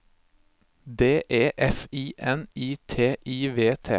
D E F I N I T I V T